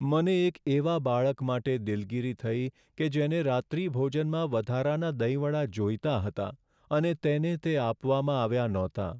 મને એક એવા બાળક માટે દિલગીરી થઈ કે જેને રાત્રિભોજનમાં વધારાના દહીં વડા જોઈતા હતા અને તેને તે આપવામાં આવ્યા નહોતાં.